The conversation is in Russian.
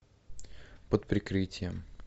под прикрытием